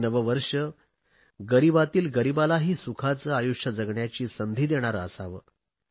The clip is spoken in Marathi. हे नवे वर्ष गरिबातील गरीबालाही सुखाचे आयुष्य जगण्याची संधी देणारे असावे